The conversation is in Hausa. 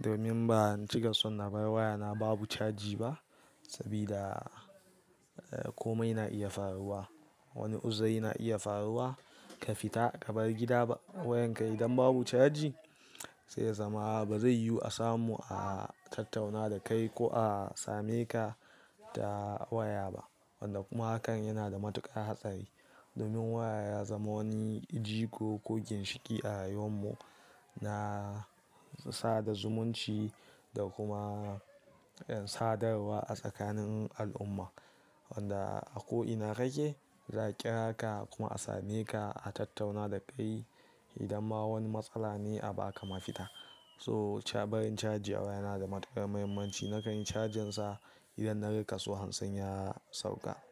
Domin ban cika son na bar waya na babu caji ba. Sabida, eh, komai na iya faruwa. Wani uzuri na iya faruwa, ka fita ka bar gida wayan ka idan babu caji sai ya zama ba zai yiwu a samu a tattauna da kai ko a sameka wanda kuma hakan yana da matuƙar hatsari. Domin waya ya zama wani jigo ko ginshiƙi a rayuwar mu, na. Sada zumunci da kuma sadarwa a tsakanin al'umma. Wanda a ko ina kake za a ƙira ka kuma a sameka a tattauna da kai idan ma wani matsala ne a ba ka mafita. So, barin caji a waya yana da matuƙar mahimmanci. Nakan yi cajin sa idan na ga kaso hansin ya sauka.